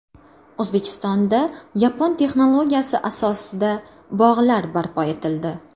O‘zbekistonda yapon texnologiyasi asosida bog‘lar barpo etildi.